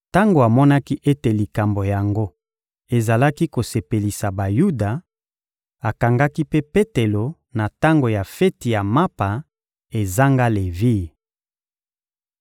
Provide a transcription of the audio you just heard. Tango amonaki ete likambo yango ezalaki kosepelisa Bayuda, akangaki mpe Petelo na tango ya feti ya mapa ezanga levire.